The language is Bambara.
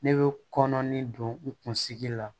Ne bɛ kɔnɔni don n kunsigi la